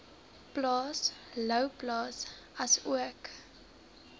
plaas louwplaas asook